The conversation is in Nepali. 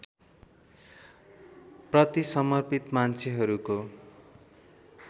प्रति समर्पित मान्छेहरूको